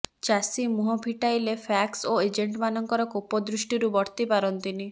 ଚାଷୀ ମୁହଁ ଫିଟାଇଲେ ପ୍ୟାକ୍ସ ଓ ଏଜେଣ୍ଟମାନଙ୍କର କୋପଦୃଷ୍ଟିରୁ ବର୍ତ୍ତି ପାରନ୍ତିନି